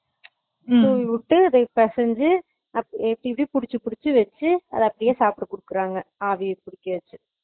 உம் தூவி விட்டு அத பெசஞ்சு இப்படி இப்படி புடுச்சு புடுச்சு வச்சு அத அப்படியே சாப்ட குடுக்குறாங்க ஆவில வச்சு